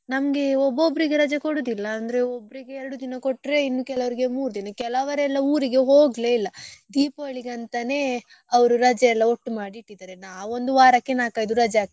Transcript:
ನಮ್ಗೆ ಒಬ್ಬೊಬ್ಬರಿಗೆ ರಜೆ ಕೊಡುದಿಲ್ಲ ಅಂದ್ರೆ ಓಬ್ರಿಗೆ ಎರಡು ದಿನ ಕೊಟ್ರೆ ಇನ್ ಕೆಲವ್ರಿಗೆ ಮೂರ್ ದಿನ ಕೆಲವರೆಲ್ಲ ಊರಿಗೆ ಹೋಗ್ಲೆ ಇಲ್ಲ Deepavali ಗೆ ಅಂತನೆ ಅವ್ರು ರಜೆಯೆಲ್ಲ ಒಟ್ಟು ಮಾಡಿ ಇಟ್ಟಿದಾರೆ ನಾವ್ ಒಂದು ವಾರಕ್ಕೆ ನಾಕ್ ಐದು ರಜೆ ಹಾಕ್ತೆವೆ.